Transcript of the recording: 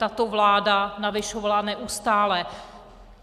Tato vláda navyšovala neustále.